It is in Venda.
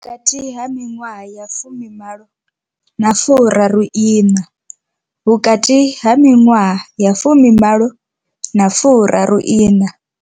Vhukati ha miṅwaha ya 18 na 34. Vhukati ha miṅwaha ya 18 na 34.